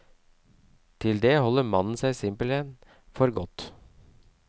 Til det holder mannen seg simpelthen for godt.